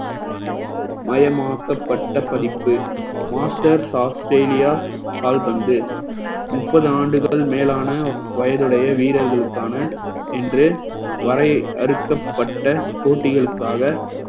மயமாக்கப்பட்ட படிப்பு masters Australia கால்பந்து முப்பது ஆண்டுகள் மேலான வயதுடைய வீரர்களுக்கான என்று வரையறுக்கப்பட்ட போட்டிகளுக்காக